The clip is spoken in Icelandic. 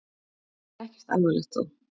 En ekkert alvarlegt þó?